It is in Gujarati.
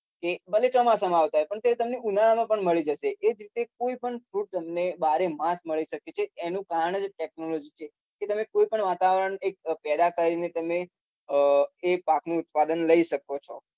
કે ભલે ચોમાસામાં આવતા હોય પણ તે તમને ઉનાળામાં પણ મળી જશે એ જ રીતે કોઈપણ fruit તમને બારેમાસ મળી શકે છે એનું કારણ જ technology છે કે તમે કોઈપણ વાતાવરણ એક પેદા કરીને તમે અમ એ પાકનું ઉત્પાદન લઇ છો